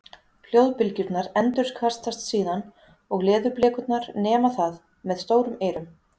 hljóðbylgjurnar endurkastast síðan og leðurblökurnar nema það með stórum eyrum